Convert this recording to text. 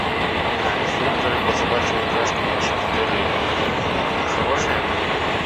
а инструкторы по собачьим упряжкам в вашем отеле хорошие